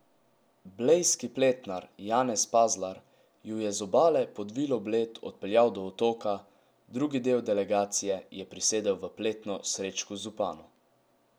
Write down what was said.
Blejski pletnar Janez Pazlar ju je z obale pod Vilo Bled odpeljal do otoka, drugi del delegacije je prisedel v pletno Srečku Zupanu.